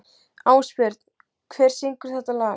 Ásbjörn, hver syngur þetta lag?